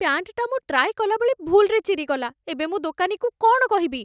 ପ୍ୟାଣ୍ଟଟା ମୁଁ ଟ୍ରାଏ କଲା ବେଳେ ଭୁଲ୍‌ରେ ଚିରିଗଲା । ଏବେ ମୁଁ ଦୋକାନୀକୁ କ'ଣ କହିବି?